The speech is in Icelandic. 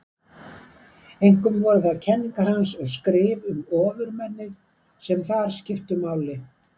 Einkum voru það kenningar hans og skrif um ofurmennið sem þar skiptu máli.